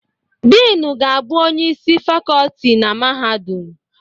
Diinu ga-abụ Onyeisi isi Fakọlti na Mahadum.